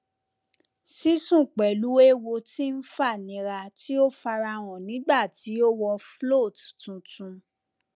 sisun pẹlú ewo tí ń fànírà tí o farahàn nígbà tí o wọ float tuntun